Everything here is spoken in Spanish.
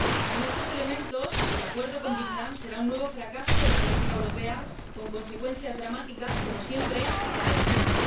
Sin estos elementos, el acuerdo con Vietnam será un nuevo fracaso de la política europea, con consecuencias dramáticas, como siempre, para la gente.